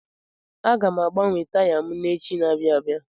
Aga m agbanwe taya m echi n'abia abịa.